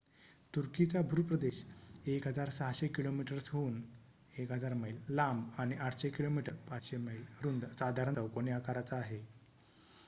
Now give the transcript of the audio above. तुर्कीचा भूप्रदेश 1,600 किलोमीटर्सहून 1,000 मैल लांब आणि 800 किमी 500 मैल रुंद साधारण चौकोनी आकाराचा आहे